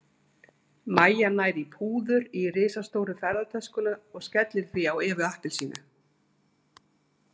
Mæja nær í púður í risastóru ferðatöskuna og skellir því á Evu appelsínu.